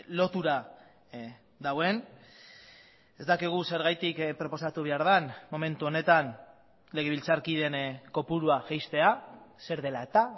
lotura dagoen ez dakigu zergatik proposatu behar den momentu honetan legebiltzarkideen kopurua jaistea zer dela eta